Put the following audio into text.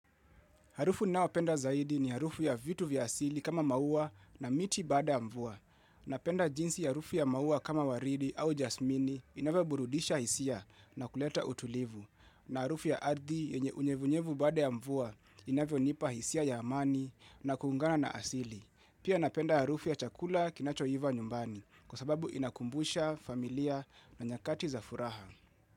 Harufu ninaopenda zaidi ni harufu ya vitu vya asili kama maua na miti bada ya mvua. Napenda jinsi ya harufu ya maua kama waridi au jasmini inavyoburudisha hisia na kuleta utulivu. Na harufu ya ardhi yenye unyevunyevu baada ya mvua inavyonipa hisia ya amani na kuungana na asili. Pia napenda harufu ya chakula kinachoiva nyumbani kwa sababu inakumbusha familia na nyakati za furaha.